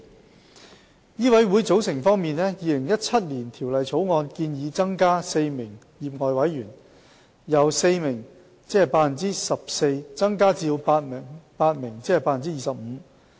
在醫委會的組成方面，《2017年條例草案》建議新增4名業外委員，使業外委員總數由4名增至8名。